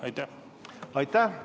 Aitäh!